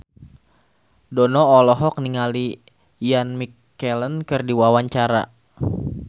Dono olohok ningali Ian McKellen keur diwawancara